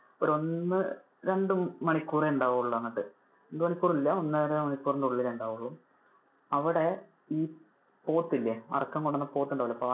ഒരു ഒന്ന് രണ്ടു മണിക്കൂറേ ഉണ്ടാവുള്ളു അങ്ങോട്ട്. രണ്ടു മണിക്കൂറില്ലാ, ഒന്നര മണിക്കൂറിനുള്ളിൽ ഉണ്ടക്കൊളു. അവിടെ ഈ പോത്തില്ലേ ഈ അറക്കാൻ കൊണ്ടുപോകുന്ന പോത്തുണ്ടാകില്ലേ.